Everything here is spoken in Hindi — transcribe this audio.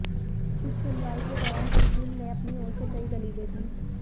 इस सुनवाई के दौरान तस्कीन ने अपनी ओर से कई दलीलें दीं